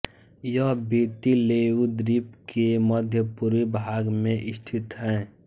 यह Viti Levu द्वीप के मध्यपूर्वी भाग में स्थित है